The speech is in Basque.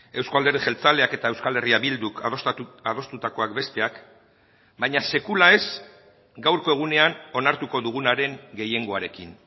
euzko alderdi jeltzaleak eta euskal herria bilduk adostutakoak besteak baina sekula ez gaurko egunean onartuko dugunaren gehiengoarekin